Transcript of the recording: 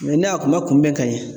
ne a kuma kunbɛn ka ɲɛ